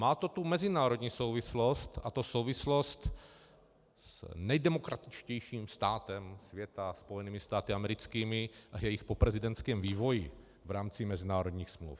Má to tu mezinárodní souvislost, a to souvislost s nejdemokratičtějším státem světa , Spojenými státy americkými, a jejich poprezidentským vývojem v rámci mezinárodních smluv.